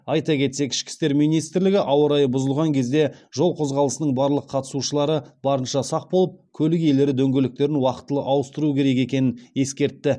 айта кетсек ішкі істер министрлігі ауа райы бұзылған кезде жол қозғалысының барлық қатысушылары барынша сақ болып көлік иелері дөңгелектерін уақтылы ауыстыруы керек екенін ескертті